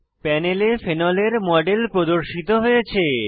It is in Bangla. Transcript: প্যানেলে ফেনলের মডেল প্রদর্শিত হয়েছে